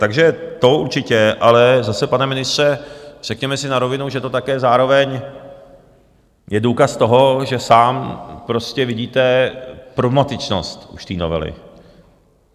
Takže to určitě - ale zase, pane ministře, řekněme si na rovinu, že to také zároveň je důkaz toho, že sám prostě vidíte problematičnost už té novely.